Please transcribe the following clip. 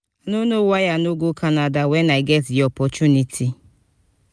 i no know why i no go canada wen i get the opportunity